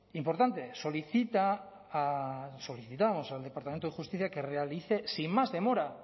importante solicitamos al departamento de justicia que realice sin más demora